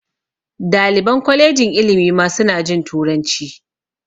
Daliban kwalejin ilimi ma su na jin turanci